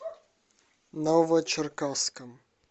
новочеркасском